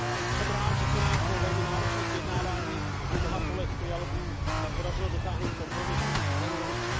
Jsem rád, že se nám po velmi náročných vyjednáváních a mnoha kolech trialogů podařilo dosáhnout kompromisu na úrovni